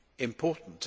important.